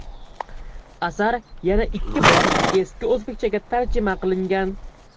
Asar yana ikki bor eski o‘zbekchaga tarjima qilingan.